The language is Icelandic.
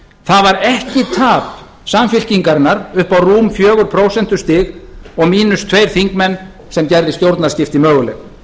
það var ekki tap samfylkingarinnar upp á rúm fjögur prósent og mínus tveir þingmenn sem gerði stjórnarskipti möguleg